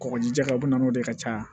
Kɔgɔjija u bɛ na n'o de ye ka caya